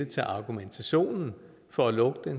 til argumentationen for at lukke